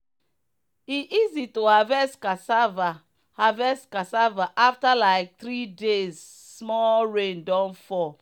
e easy to harvest cassava harvest cassava after like three days small rain don fall.